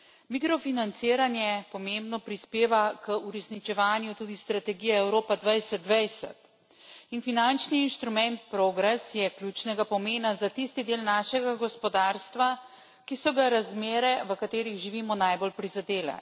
Mikrofinanciranje pomembno prispeva k uresničevanju tudi strategije Evropa 2020 in finančni inštrument PROGRESS je ključnega pomena za tisti del našega gospodarstva, ki so ga razmere, v katerih živimo, najbolj prizadele.